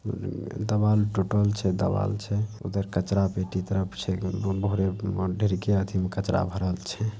देवाल टूटल छै देवाल छै उधर कचरा पेटी तरफ छै ढेरीके अथी मे कचरा भरल छै।